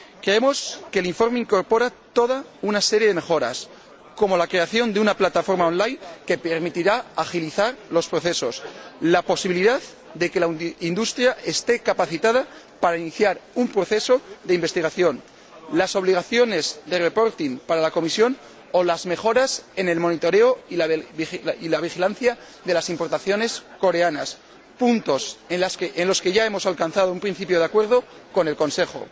Creemos que el informe incorpora toda una serie de mejoras como la creación de una plataforma on line que permitirá agilizar los procesos, la posibilidad de que la industria esté capacitada para iniciar un proceso de investigación, la obligación para la Comisión de elaborar informes, o las mejoras en el seguimiento y la vigilancia de las importaciones coreanas, puntos estos en los que ya hemos alcanzado un principio de acuerdo con el Consejo.